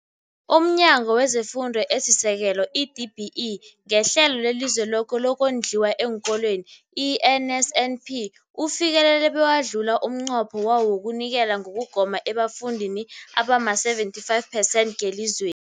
UmNyango wezeFundo esiSekelo, i-DBE, ngeHlelo leliZweloke lokoNdliwa eenKolweni, i-NSNP, ufikelele bewadlula umnqopho wawo wokunikela ngokugoma ebafundini abama-75 percent ngelizwe